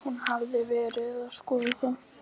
Hún hafði verið að skoða það.